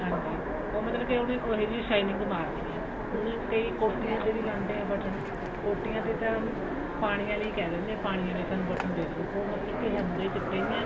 ਹਾਂਜੀ ਉਹ ਮਤਲਬ ਕਿ ਉਹਨੇ ਉਹੀ ਜਿਹੀ shining ਮਾਰਨੀ ਹੈ ਕਈ ਕੋਟੀਆਂ ਤੇ ਵੀ ਲਾਉਂਦੇ ਆ ਬਟਨ ਕੋਟੀਆਂ ਤੇ ਤਾਂ ਪਾਣੀ ਆਲੇ ਕਿਹ ਦਿੰਦੇ ਆ ਪਾਣੀ ਆਲੇ ਸਾਨੂੰ ਬਟਨ ਦੇਦੋ ਉਹ ਮਤਲਬ ਕਿ ਹੁੰਦੇ ਚਿੱਟੇ ਹੀ ਆ